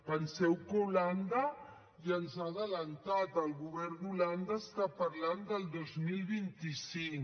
penseu que holanda ja ens ha avançat el govern d’holanda està parlant del dos mil vint cinc